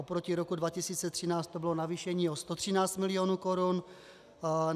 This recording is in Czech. Oproti roku 2013 to bylo navýšení o 113 milionů korun.